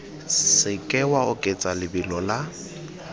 seke wa oketsa lebelo la